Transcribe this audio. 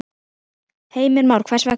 Heimir Már: Hvers vegna?